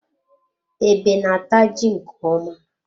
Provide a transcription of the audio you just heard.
Ebe na-ata ji nke ọma.